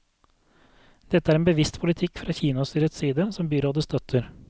Dette er en bevisst politikk fra kinostyrets side, som byrådet støtter.